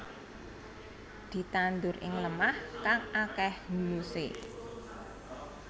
Ditandur ing lemah kang akéh humusé